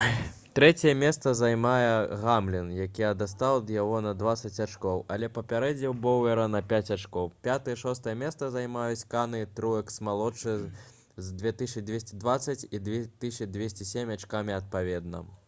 трэцяе месца займае гамлін які адстаў ад яго на дваццаць ачкоў але апярэдзіў боўера на пяць ачкоў пятае і шостае месцы займаюць канэ і труэкс-малодшы з 2220 і 2207 ачкамі адпаведна